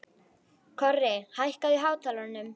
Korri, hækkaðu í hátalaranum.